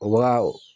U ka